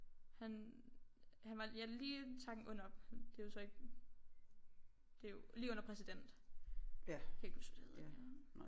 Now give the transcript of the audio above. Han han var ja lige en takken under det er jo så ikke det er jo lige under præsident jeg kan ikke huske hvad det hedder